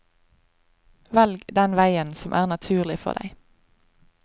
Velg den veien som er naturlig for deg.